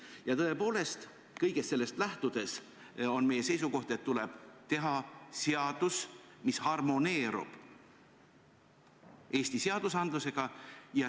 Ja tõepoolest kõigest sellest lähtudes on meie seisukoht, et tuleb teha seadus, mis harmoneerub Eesti seadusandlusega.